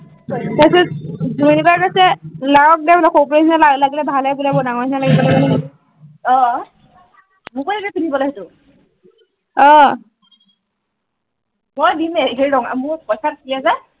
তাৰ পিছত জুমি বাই কৈছে লাগক দে সৰু পোৱালি নিচিনা লাগিলে ভাল হে বোলে বৰ ডাঙৰ নিচিনা লাগিব অ অ মোকো দিবি পিন্ধিবলে সেইটো অ মই দিমেই সেই ৰঙা মোৰ পইছা